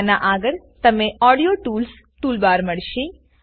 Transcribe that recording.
અના આગળ તમને ઓડિયો ટૂલ્સ toolbarમળશે